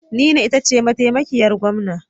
Nina ita ce mataimakiyar Gwamna.